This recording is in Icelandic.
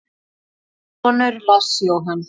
Þinn sonur, Lars Jóhann.